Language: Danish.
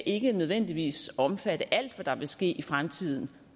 ikke nødvendigvis omfatte alt hvad der vil ske i fremtiden